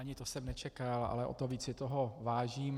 Ani to jsem nečekal, ale o to víc si toho vážím.